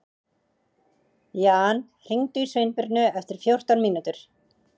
Jan, hringdu í Sveinbirnu eftir fjórtán mínútur.